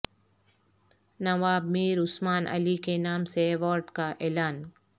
نواب میر عثمان علی کے نام سے ایوارڈ کا اعلان